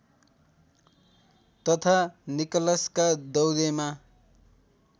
तथा निकलसका दौरेमा